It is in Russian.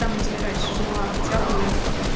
там где я раньше жила хотя бы